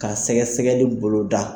Ka sɛgɛsɛgɛli bolo da.